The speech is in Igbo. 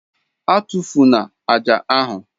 A tụfụna ájá ahu!